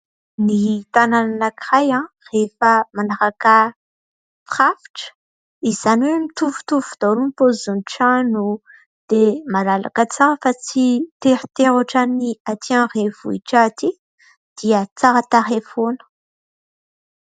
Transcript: Ny tanàna anankiray rehefa manaraka firafitra izany hoe mitovitovy daholo ny paozin'ny trano dia malalaka tsara ka tsy teritery otran'ny atỳ andrenivohitra atỳ dia tsara tarehy foana.